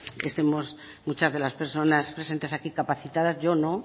estemos muchas de las personas presentes aquí capacitadas yo no